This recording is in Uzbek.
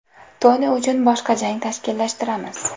Toni uchun boshqa jang tashkillashtiramiz.